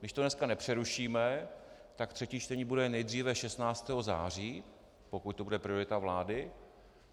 Když to dneska nepřerušíme, tak třetí čtení bude nejdříve 16. září, pokud to bude priorita vlády.